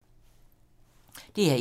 DR1